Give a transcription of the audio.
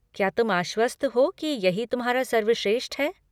क्या तुम आश्वस्त हो कि यही तुम्हारा सर्वश्रेष्ठ है?